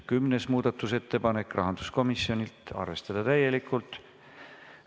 Kümnes muudatusettepanek, rahanduskomisjonilt, arvestada täielikult.